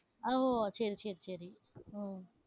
ஓ, சரி, சரி, சரி. உம்